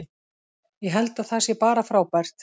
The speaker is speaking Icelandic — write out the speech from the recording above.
Ég held að það sé bara frábært.